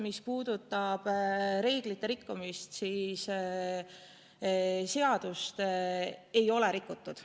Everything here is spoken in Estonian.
Mis puudutab reeglite rikkumist, siis seadust ei ole rikutud.